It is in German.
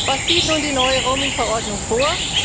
Was sieht nun die neue Roaming Verordnung vor?